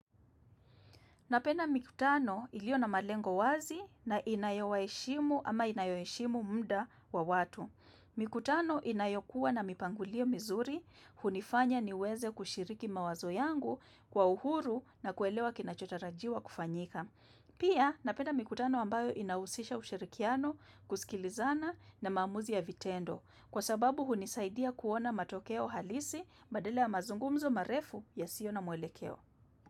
Napenda mikutano ilio na malengo wazi na inayowaheshimu ama inayoheshimu muda wa watu. Mikutano inayokuwa na mipangilio mizuri hunifanya niweze kushiriki mawazo yangu kwa uhuru na kuelewa kinachotarajiwa kufanyika. Pia, napenda mikutano ambayo inahusisha ushirikiano, kusikilizana na maamuzi ya vitendo. Kwa sababu hunisaidia kuona matokeo halisi badela ya mazungumzo marefu yasiyo na mwelekeo.